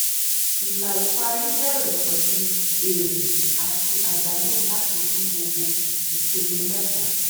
ilà ìparí bẹrẹ pẹlú èrè àti àdánù láti fún gbogbo ìpele mẹta